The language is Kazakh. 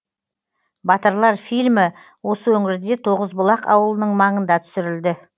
батырлар фильмі осы өңірде тоғызбұлақ ауылының маңында түсірілді